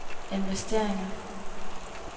investeringer